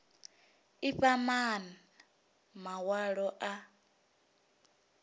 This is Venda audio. i fha maana mawalo a